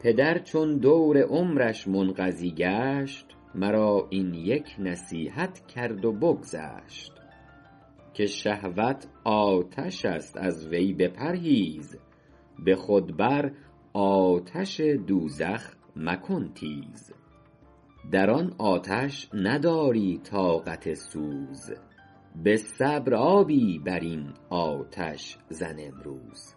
پدر چون دور عمرش منقضی گشت مرا این یک نصیحت کرد و بگذشت که شهوت آتش است از وی بپرهیز به خود بر آتش دوزخ مکن تیز در آن آتش نداری طاقت سوز به صبر آبی بر این آتش زن امروز